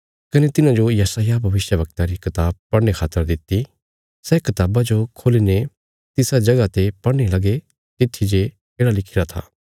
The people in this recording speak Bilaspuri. कने तिन्हाजो यशायाह भविष्यवक्ता री कताब पढ़ने खातर दित्ति सै कताबा जो खोल्ली ने तिसा जगह ते पढ़ने लगे तित्थी जे येढ़ा लिखिरा था